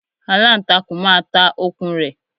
Aláǹtakùn máa ta okùn rẹ̀